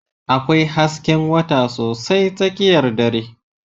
Akwai hasken wata sosai tsakiyar dare.